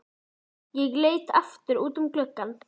Ég leit aftur út um gluggann.